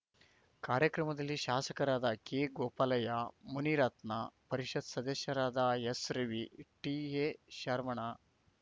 ಕಾರ್ಯಕ್ರಮದಲ್ಲಿ ಶಾಸಕರಾದ ಕೆ ಗೋಪಾಲಯ್ಯ ಮುನಿರತ್ನ ಪರಿಷತ್‌ ಸದಸ್ಯರಾದ ಎಸ್‌ರವಿ ಟಿಎ ಶರವಣ